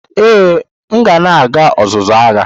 Ee, m na-aga ọzụzụ agha.